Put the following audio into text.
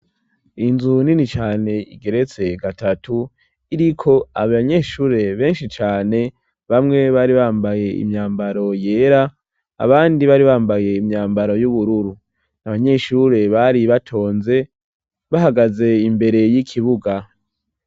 Inzu nini cane igeretse gatatu iriko abanyeshure benshi cane, bamwe bari bambaye imyambaro yera abandi bari bambaye imyambaro y'ubururu. Abanyeshure bari batonze bahagaze imbere y'ikibuga.